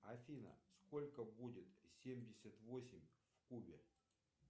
афина сколько будет семьдесят восемь в кубе